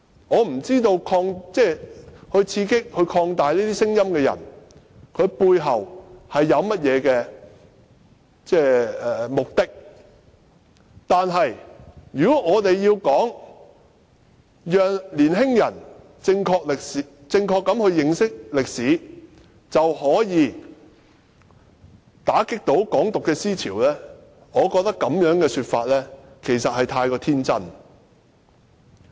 我不知道刺激和擴大這些聲音的人背後有何目的，但如果以為讓年青人正確認識歷史便可以打擊"港獨"思潮，我認為這種說法未免太天真。